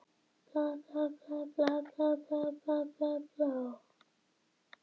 Sama sagan og í gær og fyrradag og daginn þar á undan.